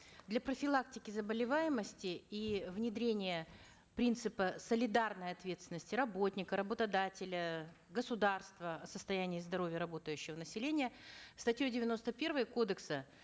для профилактики заболеваемости и внедрения принципа солидарной ответственности работника работодателя государства состояния здоровья работающего населения статьей девяносто первой кодекса